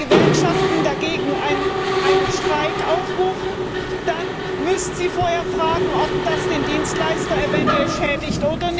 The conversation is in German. Aber wenn die Gewerkschaften dagegen zu einem Streik aufrufen, dann müssen sie vorher fragen, ob das den Dienstleister eventuell schädigt.